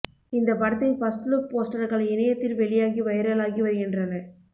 இந்த படத்தின் first look போஸ்டர்கள் இணையத்தில் வெளியாகி வைரலாகி வருகின்றன